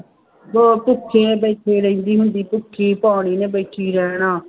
ਹਾਂ ਭੁੱਖੇ ਬੈਠੀ ਰਹਿੰਦੀ ਹੁੰਦੀ, ਭੁੱਖੀ ਭਾਣੀ ਨੇ ਬੈਠੀ ਰਹਿਣਾ,